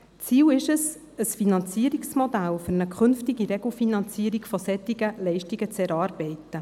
Das Ziel ist, ein Finanzierungsmodell für eine künftige Regelfinanzierung solcher Leistungen zu erarbeiten.